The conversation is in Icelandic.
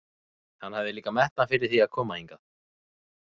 Hann hafði líka metnað fyrir því að koma hingað.